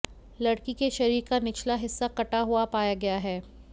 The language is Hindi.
लड़की के शरीर का निचला हिस्सा कटा हुआ पाया गया है